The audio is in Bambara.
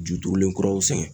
Juturulen kuraw sɛgɛn.